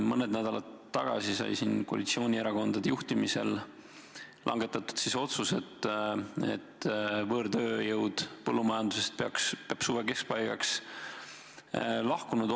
Mõned nädalad tagasi sai siin koalitsioonierakondade juhtimisel langetatud otsus, mille tagajärjel peaks võõrtööjõud põllumajandusest olema suve keskpaigaks lahkunud.